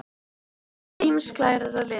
Steindir eru ýmist glærar eða litaðar.